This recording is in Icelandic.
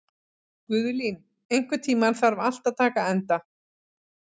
Guðlín, einhvern tímann þarf allt að taka enda.